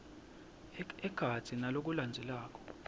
ekhatsi naku lokulandzelako